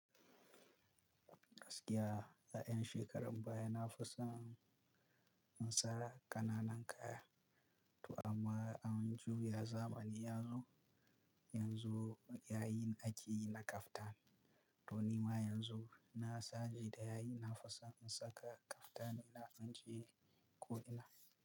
Gaskiya, a ƴan shekaran baya na fisan, in sa ƙananan kaya, to amma an juya zamani yazo, yanzu yayin akeyi na kaftan. To nima yanzu, na saje da yayin nafison in saka kaftanina inje ko ina.